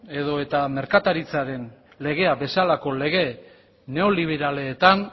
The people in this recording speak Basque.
edo eta merkataritzaren legea bezalako lege neoliberaletan